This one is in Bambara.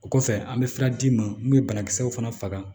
O kɔfɛ an bɛ fura d'i ma mun bɛ banakisɛw fana faga